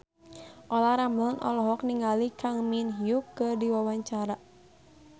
Olla Ramlan olohok ningali Kang Min Hyuk keur diwawancara